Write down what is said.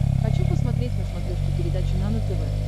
хочу посмотреть на смотрешке передачу нано тв